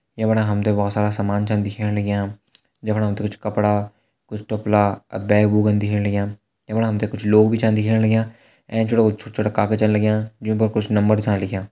यमणा हम त बहोत सारा सामान छन दिखेण लग्यां जमणा हम त कुछ कपड़ा कुछ टोपला और बैग बुग दिखेण लग्यां। यमणा हम त कुछ लोग भी छा दिखेण लग्यां। एंच वालों का छोटा छोटा कागज छा लग्यां जों पर कुछ नंबर छा लिख्यां।